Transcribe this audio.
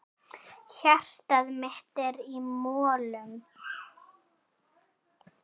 Hjartað mitt er í molum.